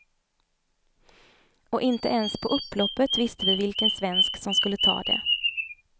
Och inte ens på upploppet visste vi vilken svensk som skulle ta det.